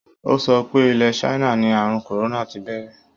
Ó sọ pé ilẹ̀ China ní àrùn kòrónà ti bẹ̀rẹ̀.